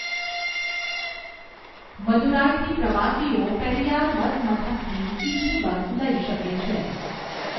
મદુરાઇથી પ્રવાસીઓ પેરિયાર બસ મથકથી સીધી બસ લઈ શકે છે.